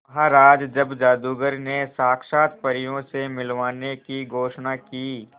महाराज जब जादूगर ने साक्षात परियों से मिलवाने की घोषणा की